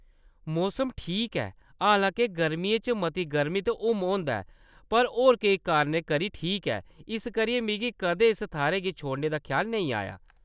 मौसम ठीक ऐ, हांलाके गर्मियें च मती गरमी ते हुम्म होंदा ऐ, पर होर केईं कारणें करी ठीक ऐ इस करियै मिगी कदें इस थाह्‌‌‌रै गी छोड़ने दा ख्याल नेईं आया।